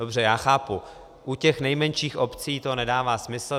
Dobře, já chápu, u těch nejmenších obcí to nedává smysl.